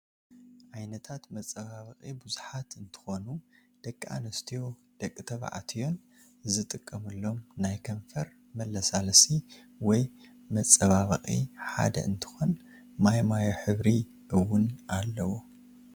ዓይነታት መፃባበቂ ብዛሓት እንተኮኑ ደቂ ኣንስተዮን ደቂ ተባዕሽትዮን ዝጥቀምሎም ናይ ከንፈር መለስላሲ ወይ መፃባበቂ ሓደ እንትኮን ማይማዮ ሕብሪ እወን ኣለዎ።